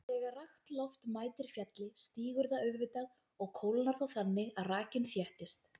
Þegar rakt loft mætir fjalli stígur það auðvitað og kólnar þá þannig að rakinn þéttist.